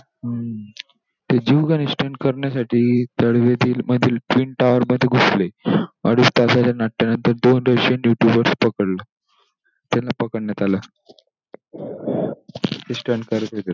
हम्म! ते जीवघेणे stunt करण्यासाठी तळावेत तील मधील pin tower मध्ये घुसले अडीच तासाच्या नाट्यानंतर दोन russian youtuberduty वर पकडलं, त्यांना पकडण्यात आलं. ते stunt करत होते.